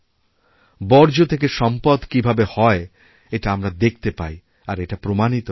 বর্জ্যথেকে সম্পদ কীভাবে হয় এটা আমরা দেখতে পাই আর এটা প্রমাণিত হয়েছে